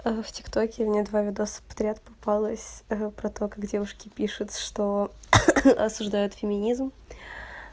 в тиктоке мне два видео подряд попалось про то как девушки пишут что осуждают феминизм